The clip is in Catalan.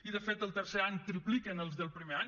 i de fet el tercer any tripliquen els del primer any